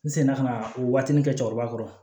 N senna ka na o waatinin kɛ cɛkɔrɔba kɔrɔ